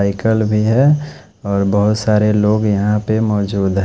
Cycle भी है और बहोत सारे लोग यहाँ पर मौजूद है।